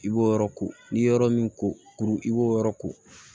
I b'o yɔrɔ ko n'i ye yɔrɔ min ko kuru i b'o yɔrɔ ko